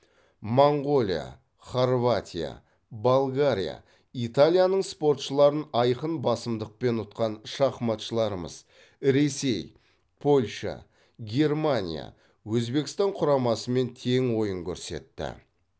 моңғолия хорватия болгария италияның спортшыларын айқын басымдықпен ұтқан шахматшыларымыз ресей польша германия өзбекстан құрамасымен тең ойын көрсетті